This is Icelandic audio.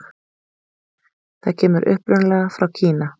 Það kemur upprunalega frá Kína.